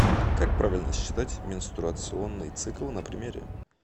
как правильно считать менструационный цикл на примере